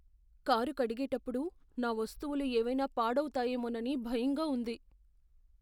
Car కడిగేటప్పుడు నా వస్తువులు ఏవైనా పాడవుతాయేమోనని భయంగా ఉంది.